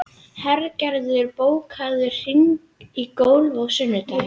Hergerður, bókaðu hring í golf á sunnudaginn.